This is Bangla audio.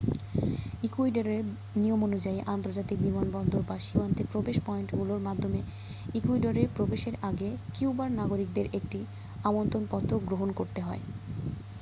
ইকুয়েডরের নিয়মানুযায়ী আন্তর্জাতিক বিমানবন্দর বা সীমান্তে প্রবেশ পয়েন্টগুলোর মাধ্যমে ইকুয়েডরে প্রবেশের আগে কিউবার নাগরিকদের একটি আমন্ত্রণ পত্র গ্রহণ করতে হয়